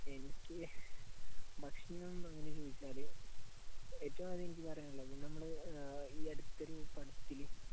എനിക്ക് ഭക്ഷണം എന്ന് ചോദിച്ചാല് ഏറ്റവും ആദ്യം എനിക്ക് പറയാനുള്ളത് നമ്മൾ ഈ അടുത്തൊരു പടത്തില്